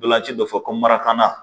Ntolanci dɔ fɔ ko mara